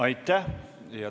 Aitäh!